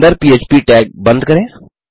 अंदर पह्प टैग बंद करें